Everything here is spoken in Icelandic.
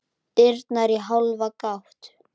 Dyrnar í hálfa gátt.